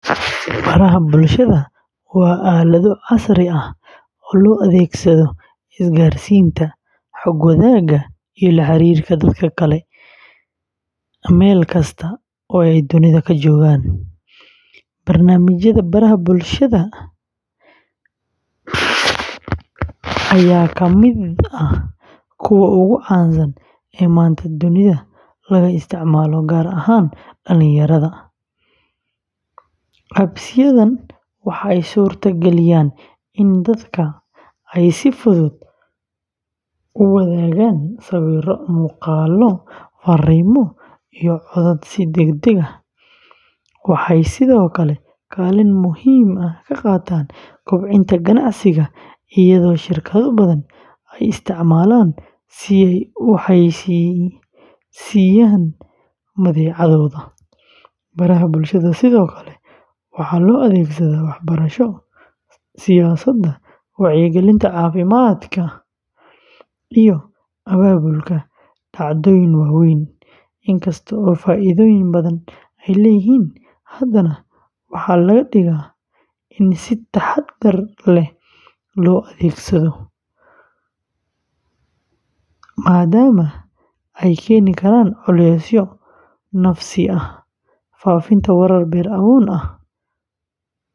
Baraha bulshada waa aalado casri ah oo loo adeegsado isgaarsiinta, xog wadaagga, iyo la xiriirka dadka kale meel kasta oo ay dunida ka joogaan. Barnaamijyada baraha bulshada, ayaa ka mid ah kuwa ugu caansan ee maanta dunida laga isticmaalo, gaar ahaan dhalinyarada. Apps-yadan waxay suurta galiyaan in dadka ay si fudud u wadaagaan sawirro, muuqaallo, fariimo, iyo codad si degdeg ah. Waxay sidoo kale kaalin muhiim ah ka qaataan kobcinta ganacsiga iyadoo shirkado badan ay isticmaalaan si ay u xayeysiiyaan badeecadooda. Baraha bulshada sidoo kale waxaa loo adeegsadaa waxbarasho, siyaasadda, wacyigelinta caafimaadka, iyo abaabulka dhacdooyin waaweyn. Inkasta oo faa’iidooyin badan ay leeyihiin, haddana waxaa laga digaa in si taxaddar leh loo adeegsado, maadaama ay keeni karaan culeys nafsi ah, faafinta warar been abuur ah.